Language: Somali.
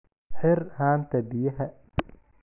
Xir haanta biyaha.